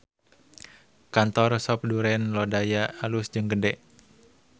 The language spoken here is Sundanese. Kantor Sop Duren Lodaya alus jeung gede